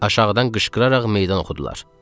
Aşağıdan qışqıraraq meydan oxudular.